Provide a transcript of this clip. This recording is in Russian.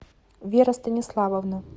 вера станиславовна